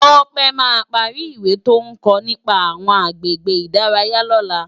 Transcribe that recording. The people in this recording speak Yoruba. Tope má pàri iwé tó n kò nipá áwòn àgbégbé idàráyá lòlá